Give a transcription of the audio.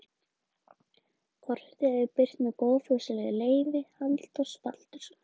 Kortið er birt með góðfúslegu leyfi Halldórs Baldurssonar.